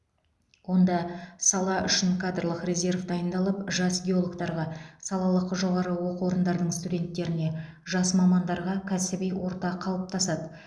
онда сала үшін кадрлық резерв дайындалып жас геологтарға салалық жоғарғы оқу орындардың студенттеріне жас мамандарға кәсіби орта қалыптасады